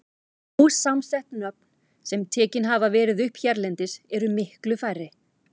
Ósamsett nöfn, sem tekin hafa verið upp hérlendis, eru miklu færri.